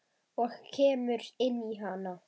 Og kemur inn í hana.